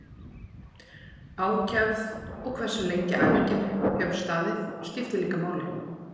Ákefð og hversu lengi æfingin hefur staðið skiptir líka máli.